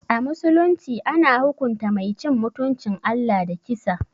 A musulunci, ana hukunta Mai cin mutuncin Allah da kisa.